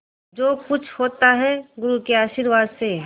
जो कुछ होता है गुरु के आशीर्वाद से